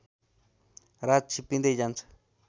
रात छिप्पिँदै जान्छ